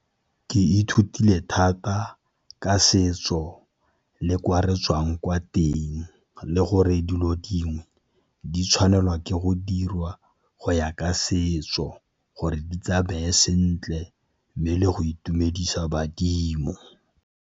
Ke ithutile thata ka setso le kwa re tswang kwa teng le gore dilo dingwe di tshwanelwa ke go dirwa go ya ka setso, gore di tsa beye sentle mme le go itumedisa badimo.